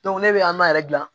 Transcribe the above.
ne bɛ an yɛrɛ dilan